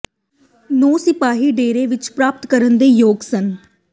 ਨੌ ਸਿਪਾਹੀ ਡੇਰੇ ਵਿੱਚ ਪ੍ਰਾਪਤ ਕਰਨ ਦੇ ਯੋਗ ਸਨ